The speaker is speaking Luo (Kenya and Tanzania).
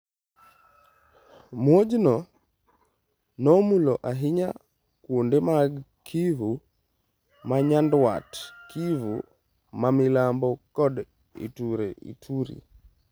Muojno nomulo ahinya kuonde mag Kivu ma Nyanduat, Kivu ma Milambo kod Ituri.